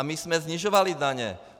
A my jsme snižovali daně.